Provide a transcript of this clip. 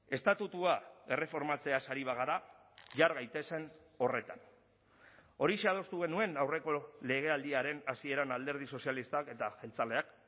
estatutua erreformatzeaz ari bagara jar gaitezen horretan horixe adostu genuen aurreko legealdiaren hasieran alderdi sozialistak eta jeltzaleak